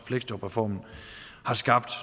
fleksjobreformen har skabt